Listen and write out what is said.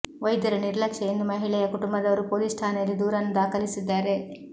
ವೈದ್ಯರ ನಿರ್ಲಕ್ಷ್ಯ ಎಂದು ಮಹಿಳೆಯ ಕುಟುಂಬದವರು ಪೊಲೀಸ್ ಠಾಣೆಯಲ್ಲಿ ದೂರನ್ನು ದಾಖಲಿಸಿದ್ದಾರೆ